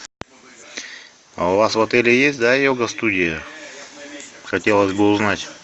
а у вас в отеле есть да йога студия хотелось бы узнать